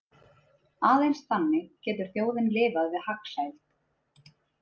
Aðeins þannig getur þjóðin lifað við hagsæld.